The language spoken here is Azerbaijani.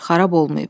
xarab olmayıb.